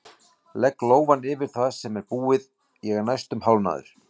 Legg lófann yfir það sem er búið, ég er næstum hálfnaður!